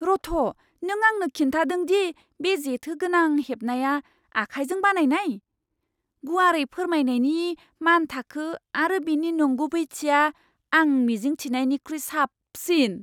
रथ', नों आंनो खिन्थादों दि बे जेथोगोनां हेबनाया आखाइजों बानायनाय? गुवारै फोरमायनायनि मानथाखो आरो बेनि नंगुबैथिया आं मिजिं थिनायनिख्रुइ साबसिन!